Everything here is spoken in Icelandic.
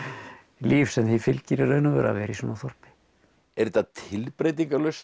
líf sem því fylgir í raun og veru að vera í svona þorpi er þetta